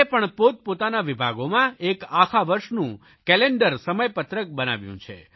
ભારત સરકારે પણ પોતપોતાના વિભાગોમાં એક આખા વરસનું કેલેન્ડર સમયપત્રક બનાવ્યું છે